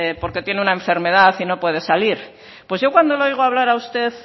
porque tiene una enfermedad y no puede salir pues yo cuando le oigo hablar a usted